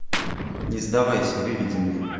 не сдавайся выведи мне